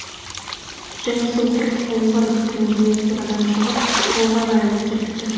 және сол құрып қалғыр түнде қорадан шығып тауға жайылып кетіпті